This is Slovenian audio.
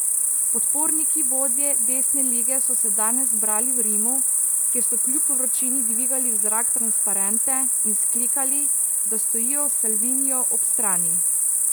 Podporniki vodje desne Lige so se danes zbrali v Rimu, kjer so kljub vročini dvigali v zrak transparente in vzklikali, da stojijo Salviniju ob strani.